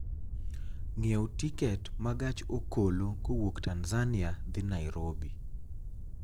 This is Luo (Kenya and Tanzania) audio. ng'iewo tiket ma gach okolokowuok tanzania dhi nairobi